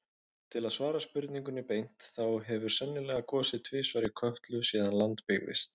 Til að svara spurningunni beint, þá hefur sennilega gosið tvisvar í Kröflu síðan land byggðist.